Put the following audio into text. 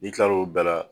N'i kilal'o bɛɛ la